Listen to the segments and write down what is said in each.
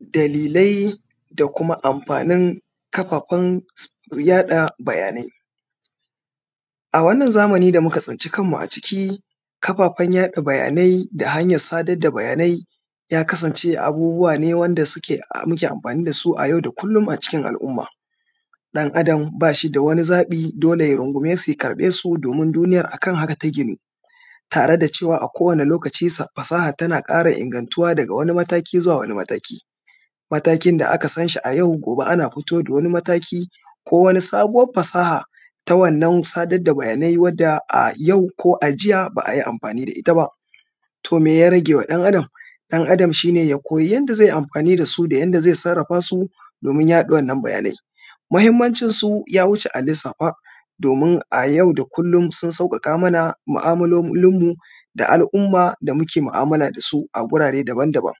dalilai da kuma amfanin kafafen yaɗa bayanai a wannan zamani da muka tsinci kanmu a ciki kafafen yaɗa bayanai da sada bayanai ya kasance abubuwa ne wanda suke muke amfani da su a yau da kullum a cikin al’umma ɗan adam ba shi da wani zaɓi dole ya rungume su ya karɓe su domin duniyar a kan haka ta ginu tare da cewa a kowane lokaci fasaha tana ƙara ingantuwa daga wani mataki zuwa wani mataki matakin da aka san shi a yau gobe ana fito da wani mataki ko wani fasaha ta wannan sadar da bayanai wadda a yau ko a jiya ba a yi amfani da ita ba to me ya rage wa ɗan adam ɗan adam shi ne ya koyi yadda zai yi amfani da su da yanda zai sarrafa su domin yaɗa wannan bayanai muhimmancinsu ya wuce a lissafa domin a yau da kullum sun sauƙaƙa mana mu’amalolinmu da al’umma da muke mu’amala da su a gurare daban daban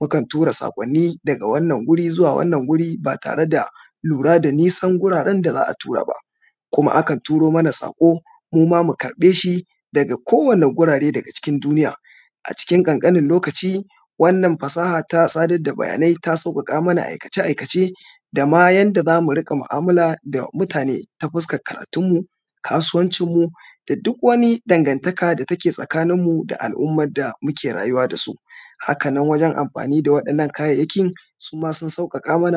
mukan tura saƙwanni daga wannan wuri zuwa wannan wuri ba tare da lura da nisan guraren da za a tura ba kuma akan turo mana saƙo mu ma mu karɓe shi daga kowane gurare daga cikin duniya a cikin ƙanƙanin lokaci wannan fasaha ta sadar da bayanai ta sauƙaƙa mana aikace aikace da ma yadda za mu riƙa mu’amala da mutane ta fuskar karatunmu kasuwancinmu da duk wani dangantaka da take tsakaninmu da al’ummar da muke rayuwa da su haka nan wajen amfani da waɗannan kayayyakin su ma sun sauƙaƙa mana